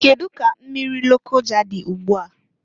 Kedu ka mmiri Lokoja dị ụgbụa?